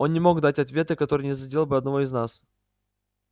он не мог дать ответа который не задел бы одного из нас